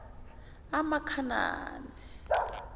amakhanani